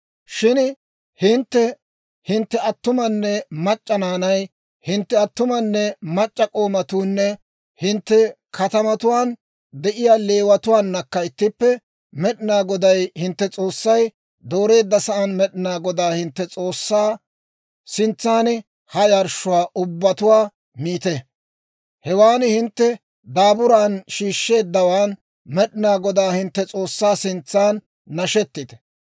Shin hintte, hintte attumanne mac'c'a naanay, hintte attumanne mac'c'a k'oomatuunne hintte katamatuwaan de'iyaa Leewatuwaanakka ittippe, Med'inaa Goday hintte S'oossay dooreedda sa'aan Med'inaa Godaa hintte S'oossaa sintsan ha yarshshuwaa ubbatuwaa miite; hewan hintte daaburan shiishsheeddawaan Med'inaa Godaa hintte S'oossaa sintsan nashetite.